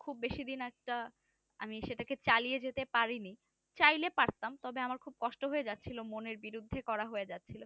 খুব বেশি দিন একটা আমি সেটাকে চালিয়ে যেতে পারিনি চাইলে পারতাম আমার খুব কষ্ট হয়েযাচ্ছিল মনের বিরুদ্ধে করা হয়ে যাচ্ছিলো